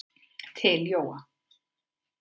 Til Jóa.